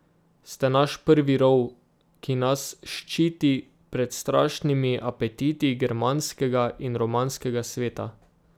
Ste naš prvi rov, ki nas ščiti pred strašnimi apetiti germanskega in romanskega sveta.